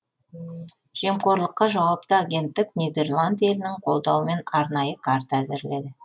жемқорлыққа жауапты агенттік нидерланд елінің қолдауымен арнайы карта әзірледі